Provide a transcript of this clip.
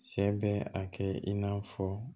Sɛ bɛ a kɛ i n'a fɔ